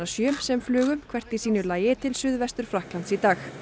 sjö sem flugu hvert í sínu lagi til Suðvestur Frakklands í dag